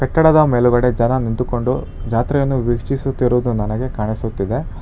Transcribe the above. ಕಟ್ಟಡದ ಮೇಲುಗಡೆ ಜನ ನಿಂತುಕೊಂಡು ಜಾತ್ರೆಯನ್ನು ವೀಕ್ಷಿಸುತ್ತಿರುವುದು ನನಗೆ ಕಾಣಿಸುತ್ತಿದೆ.